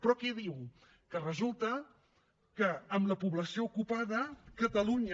però què diu que resulta que en la població ocupada catalunya